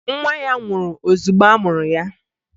Nwa ya nwụrụ ozugbo a mụrụ ya